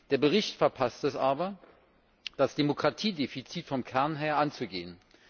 Der Bericht verpasst es aber, das Demokratiedefizit vom Kern her anzugehen.